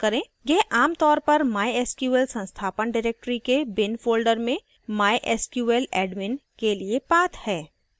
यह आमतौर पर mysql संस्थापन directory के bin folder में mysqladmin के लिए path है